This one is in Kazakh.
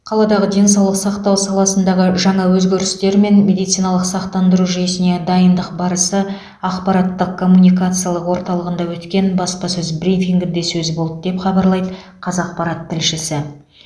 қаладағы денсаулық сақтау саласындағы жаңа өзгерістер мен медициналық сақтандыру жүйесіне дайындық барысы ақпараттық коммуникациялық орталығында өткен баспасөз брифингінде сөз болды деп хабарлайды қазақпарат тілшісі